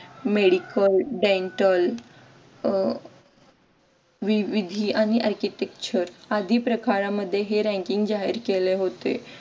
medical dental अह विविधि आणि architecture आधी प्रकारांमध्ये हे ranking जाहीर केले होते.